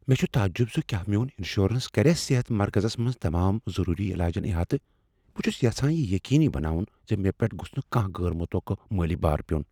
مےٚ چھ تعجب زِ کیٛاہ میون انشورنس کریا صحت مرکزس منز تمام ضروری علاجن احاطہٕ۔ بہٕ چھس یژھان یہ یقینی بناون ز مےٚ پیٹھ گوٚژھ نہٕ کانٛہہ غیر متوقع مٲلی بار پیون۔